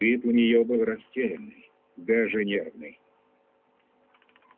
вид у нее был растерянный даже нервный